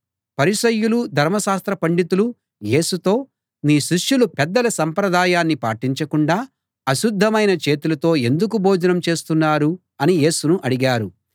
పరిసయ్యులు ధర్మశాస్త్ర పండితులు యేసుతో మీ శిష్యులు పెద్దల సంప్రదాయాన్ని పాటించకుండా అశుద్ధమైన చేతులతో ఎందుకు భోజనం చేస్తున్నారు అని యేసును అడిగారు